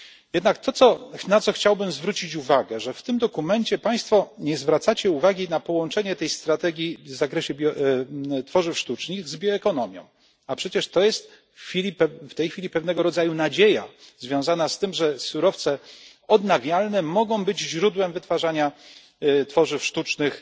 Jednak na co chciałbym zwrócić uwagę że w tym dokumencie Państwo nie zwracacie uwagi na połączenie tej strategii w zakresie tworzyw sztucznych z bioekonomią, a przecież to jest w tej chwili pewnego rodzaju nadzieja związana z tym, że surowce odnawialne mogą być źródłem wytwarzania tworzyw sztucznych,